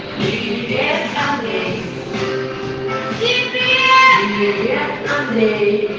идея самки видный